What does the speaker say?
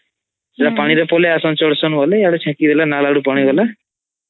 ସେଗା ପାଣି ରେ ପଇଲେ ଏଈଅଦୁ ଚେକୀ ଦେଲେ ନାଲ ଆଡୁ ପାଣି ଗଲେ